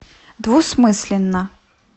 двусмысленно